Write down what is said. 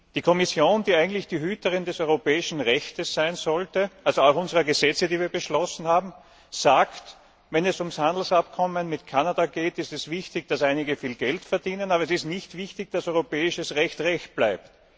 Die Kommission, die eigentlich die Hüterin des europäischen Rechtes sein sollte, also auch unserer Gesetze, die wir beschlossen haben, sagt, wenn es ums Handelsabkommen mit Kanada geht, ist es wichtig, dass einige viel Geld verdienen, aber es ist nicht wichtig, dass europäisches Recht Recht bleibt.